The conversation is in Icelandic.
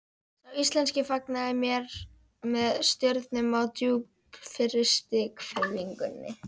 Sá íslenski fagnaði mér með stjörnum á djúpfrystri hvelfingunni.